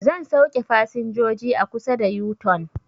Zai sauke fasinjoji a kusa da yu-tun